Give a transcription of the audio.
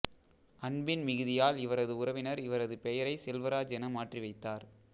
அன்பின் மிகுதியால் இவரது உறவினர் இவரது பெயரை செல்வராஜ் என மாற்றி வைத்தார்